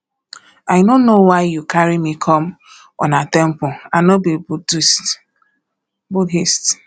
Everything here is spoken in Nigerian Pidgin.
i no know why you carry me come una temple i no be buddhist